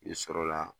I sɔrɔ la